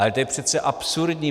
Ale to je přece absurdní.